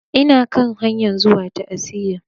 Ina kan hanyan zuwa ta'aziya.